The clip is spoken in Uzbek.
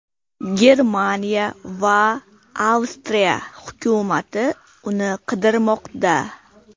Germaniya va Avstriya hukumati uni qidirmoqda.